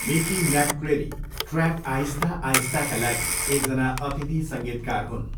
Mickey McCleary track आहिस्ता आहिस्ताका लागि एकजना अतिथि सङ्गीतकार हुन्।